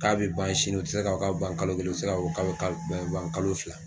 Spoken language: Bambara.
K'a bɛ ban sini o tɛ se ka fɔ k'a ban kalo kelen o tɛ se k'a fɔ kalo fila.